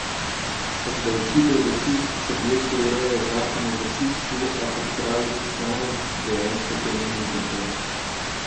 Obdavčitev gasilskih objektov ureja zakon o gasilstvu, a, kot pravi poslanec, dejansko temu ni tako.